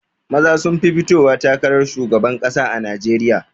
Maza sun fi fitowa takarar shugaban ƙasa a najeriya